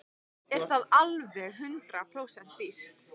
Er það alveg hundrað prósent víst?